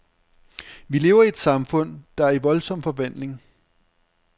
Vi lever i et samfund, der er i voldsom forvandling.